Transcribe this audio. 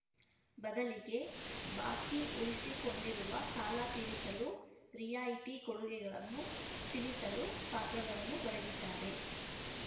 ಬದಲಿಗೆ ಬಾಕಿ ಉಳಿಸಿಕೊಂಡಿರುವ ಸಾಲ ತೀರಿಸಲು ರಿಯಾಯಿತಿ ಕೊಡುಗೆಗಳನ್ನು ತಿಳಿಸಲು ಪಾತ್ರಗಳನ್ನು ಬರೆದಿದ್ದಾರೆ